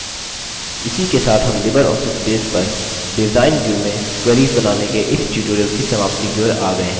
इसी के साथ हम libreoffice base पर डिज़ाइन view में queries बनाने के इस tutorial की समाप्ति की ओर आ गये हैं